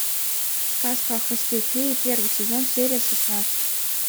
сказка о хвосте феи первый сезон серия шестнадцать